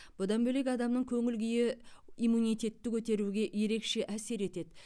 бұдан бөлек адамның көңіл күйі иммунитетті көтеруге ерекше әсер етеді